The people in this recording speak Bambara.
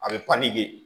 A bɛ